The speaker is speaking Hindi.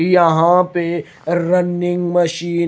यहां पे रनिंग मशीन --